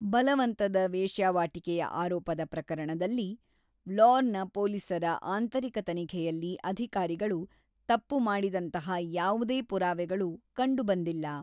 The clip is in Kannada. ಬಲವಂತದ ವೇಶ್ಯಾವಾಟಿಕೆಯ ಆರೋಪದ ಪ್ರಕರಣದಲ್ಲಿ, ವ್ಲೋರ್‌ನ ಪೋಲೀಸರ ಆಂತರಿಕ ತನಿಖೆಯಲ್ಲಿ ಅಧಿಕಾರಿಗಳು ತಪ್ಪು-ಮಾಡಿದಂತಹ ಯಾವುದೇ ಪುರಾವೆಗಳು ಕಂಡುಬಂದಿಲ್ಲ.